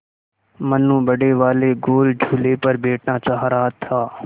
मनु बड़े वाले गोल झूले पर बैठना चाह रहा था